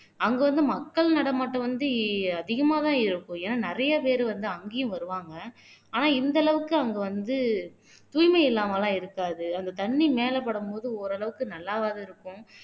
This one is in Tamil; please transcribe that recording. அங்க வந்து மக்கள் நடமாட்டம் வந்து அதிகமாதான் இருக்கும் ஏன்னா நிறைய பேர் வந்து அங்கேயும் வருவாங்க ஆனா இந்த அளவுக்கு அவங்க வந்து தூய்மை இல்லாம எல்லாம் இருக்காது அந்த தண்ணி மேல படும்போது ஓரளவுக்கு நல்லாவாவது இருக்கும்